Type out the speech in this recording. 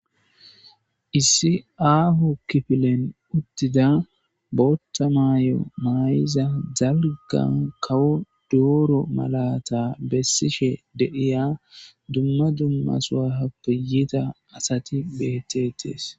Issi aahu kifilen uttida bootta maayo mayiza zalga kawo dooro malata bessishe dediya dumma dummasuaha piyita asati beettetees.